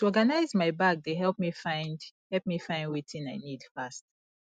to organize my bag dey help me find help me find wetin i need fast